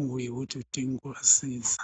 okuyikuthi udinga ukubasiza.